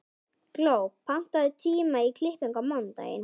Gló, pantaðu tíma í klippingu á mánudaginn.